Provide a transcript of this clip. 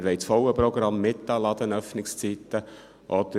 «Wir wollen das volle Programm mit den Ladenöffnungszeiten», oder: